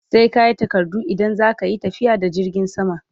Sai kayi takardu idan zaka Yi tafiya da jirgin sama